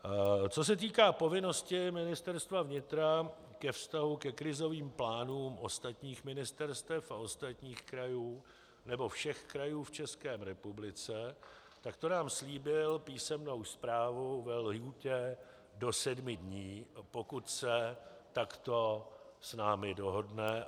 Co se týká povinnosti Ministerstva vnitra ke vztahu ke krizovým plánům ostatních ministerstev a ostatních krajů, nebo všech krajů v České republice, tak to nám slíbil písemnou zprávu ve lhůtě do sedmi dní, pokud se takto s námi dohodne.